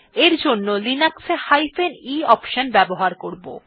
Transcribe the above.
এর জন্য আমরা লিনাক্স এ e অপশন ব্যবহার করব